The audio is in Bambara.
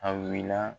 A wulila